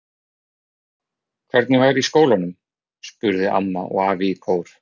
Hvernig var í skólanum? spurðu amma og afi í kór.